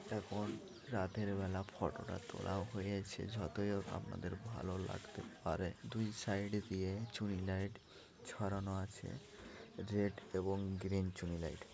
এখন রাতের বেলা ফটো টা তোলা হয়েছে যতই হোক আপনাদের ভালো লাগতে পারে দুই সাইড দিয়ে চুনি লাইট ছড়ানো আছে রেড এবং গ্রীন চুনি লাইট ।